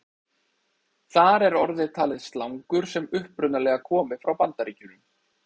Þar er orðið talið slangur sem upprunalega komi frá Bandaríkjunum.